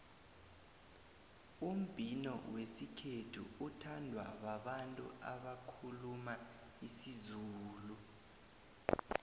umbhino wesikhethu uthandwa babantu abakhuluma isizulu